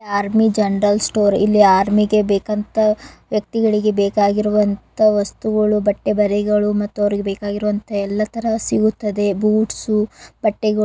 General store ಇಲ್ಲಿ ಆರ್ಮಿಗೆ ಬೇಕಂತ ವ್ಯಕ್ತಿಗಳಿಗೆ ಬೇಕಾಗಿರುವಂತಹ ವಸ್ತುಗಳು ಬಟ್ಟೆ ಬರೆಗಳು ಮತ್ತುಅವ್ರಿಗೆ ಬೇಕಾಗಿರುವಂತಹ ಎಲ್ಲಾ ತರ ಸಿಗುತ್ತದೆ. ಬೂಟ್ಸು ಬಟ್ಟೆಗಳು--